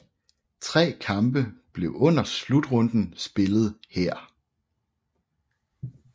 Tre kampe blev under slutrunden spillet her